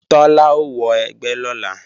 Tọ́lá ó wọ ẹgbẹ́ lọ́la